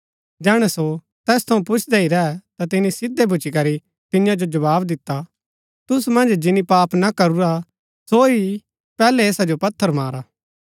जैहणै सो तैस थऊँ पुछदै ही रैह ता तिनी सिधै भूच्ची करी तियां जो जवाव दिता तुसू मन्ज जिनी पाप ना करूरा सो ही पैहलै ऐसा जो पत्थर मारा